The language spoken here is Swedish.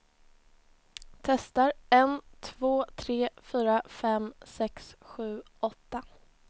Testar en två tre fyra fem sex sju åtta.